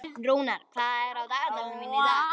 Rúnar, hvað er á dagatalinu mínu í dag?